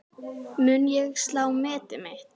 Mun ég slá metið mitt?